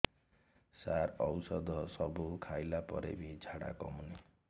ସାର ଔଷଧ ସବୁ ଖାଇଲା ପରେ ବି ଝାଡା କମୁନି